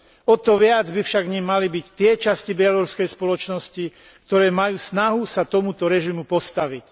O to viac by však ním mali byť tie časti bieloruskej spoločnosti, ktoré majú snahu sa tomuto režimu postaviť.